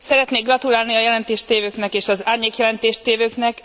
Szeretnék gratulálni a jelentést tévőknek és az árnyékjelentést tévőknek.